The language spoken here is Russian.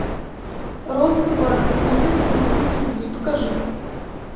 розовый бархат невинность лесбийской любви покажи